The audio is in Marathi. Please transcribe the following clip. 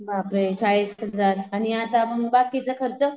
बापरे चाळीस हजार आणि आता मग बाकीचा खर्च?